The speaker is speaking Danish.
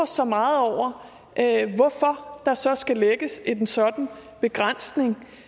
så meget over hvorfor der så skal lægges en sådan begrænsning